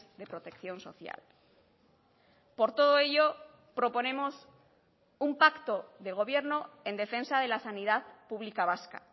de protección social por todo ello proponemos un pacto de gobierno en defensa de la sanidad pública vasca